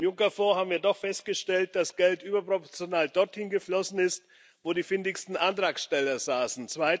Beim Juncker Fonds haben wir doch festgestellt, dass Geld überproportional dort hingeflossen ist, wo die findigsten Antragsteller saßen.